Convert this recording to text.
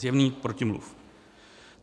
Zjevný protimluv.